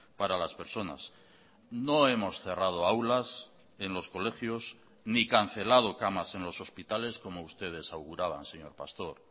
para las personas no hemos cerrado aulas en los colegios ni cancelado camas en los hospitales como ustedes auguraban señor pastor